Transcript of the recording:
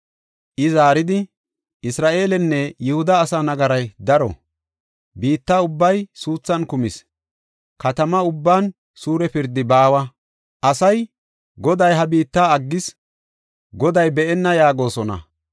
I zaaridi, “Isra7eelenne Yihuda asaa nagaray daro; biitta ubbay suuthan kumis. Katama ubban suure pirdi baawa. Asay, ‘Goday ha biitta aggis; Goday be7enna’ yaagosona.